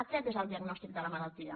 aquest és el diagnòstic de la malaltia